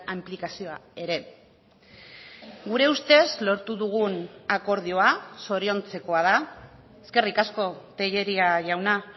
inplikazioa ere gure ustez lortu dugun akordioa zoriontzekoa da eskerrik asko tellería jauna